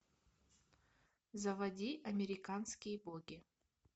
заводи американские боги